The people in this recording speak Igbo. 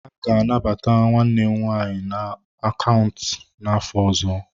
A ga-anabata nwanne m nwanyị na akaụntụ n'afọ ọzọ.